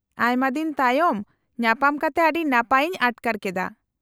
-ᱟᱭᱢᱟ ᱫᱤᱱ ᱛᱟᱭᱚᱢ ᱧᱟᱯᱟᱢ ᱠᱟᱛᱮ ᱟᱹᱰᱤ ᱱᱟᱯᱟᱭ ᱤᱧ ᱟᱴᱠᱟᱨ ᱠᱮᱫᱟ ᱾